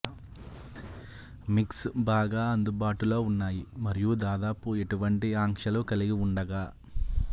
mix బాగా అందుబాటులో ఉన్నాయి మరియు దాదాపు ఎటువంటి ఆంక్షలు కలిగి ఉండగా